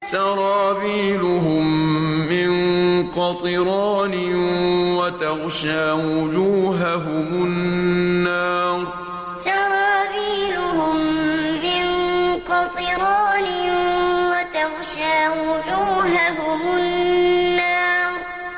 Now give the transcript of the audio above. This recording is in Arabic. سَرَابِيلُهُم مِّن قَطِرَانٍ وَتَغْشَىٰ وُجُوهَهُمُ النَّارُ سَرَابِيلُهُم مِّن قَطِرَانٍ وَتَغْشَىٰ وُجُوهَهُمُ النَّارُ